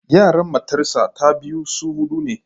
Yaran matarsa ​​ta biyu su hudu ne.